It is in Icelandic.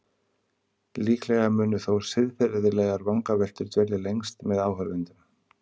Líklega munu þó siðfræðilegar vangaveltur dvelja lengst með áhorfendum.